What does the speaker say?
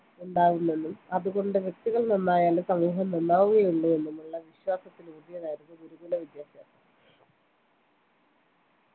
ഉണ്ടാകുന്നെന്നും അതുകൊണ്ട് വ്യക്തികൾ നന്നായാലേ സമൂഹം നന്നാകു കയുള്ളൂ എന്നുമുള്ള വിശ്വാ സത്തിലൂന്നിയതായിരുന്നു ഗുരുകുലവിദ്യാഭ്യാസം